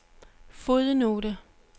fodnote